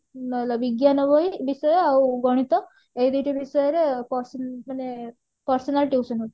ବିଜ୍ଞାନ ବହି ବିଷୟ ଆଉ ଗଣିତ ଏଇ ଦୁଇଟି ବିଷୟରେ ମାନେ personal tuition ହଉଥିଲି